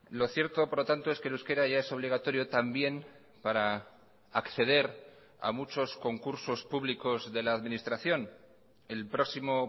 lo cierto por lo tanto es que el euskera ya es obligatorio también para acceder a muchos concursos públicos de la administración el próximo